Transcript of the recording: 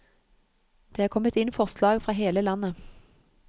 Det er kommet inn forslag fra hele landet.